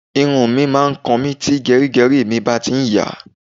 Irun mi máa ń kan mi tí gẹrígẹrí mi bá ti ń yàá.